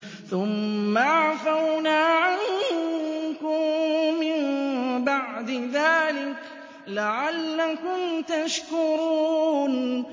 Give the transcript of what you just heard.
ثُمَّ عَفَوْنَا عَنكُم مِّن بَعْدِ ذَٰلِكَ لَعَلَّكُمْ تَشْكُرُونَ